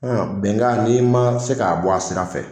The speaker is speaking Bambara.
Ɔ bɛngan n'i ma se k'a bɔ a sira fɛ.